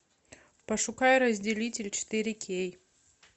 пошукай разделитель четыре кей